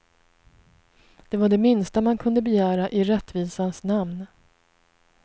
Det var det minsta man kunde begära i rättvisans namn.